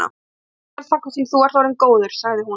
Ég verð hjá þér þangað til þú ert orðinn góður, sagði hún.